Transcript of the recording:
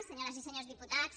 senyores i senyors diputats